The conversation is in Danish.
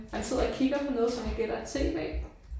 Han sidder og kigger på noget som jeg gætter er TV